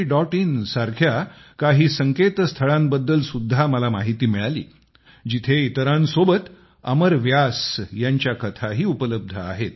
in सारख्या काही संकेतस्थळाबद्दल सुद्धा मला माहिती मिळाली जिथे इतरांसोबत अमर व्यास यांच्या कथाही उपलब्ध आहेत